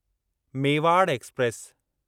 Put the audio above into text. Mewar express